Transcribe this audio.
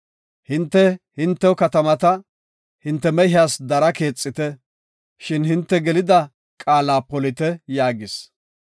Hinte hintew katamata, hinte mehiyas dara keexite, shin hinte gelida qaala polite” yaagis.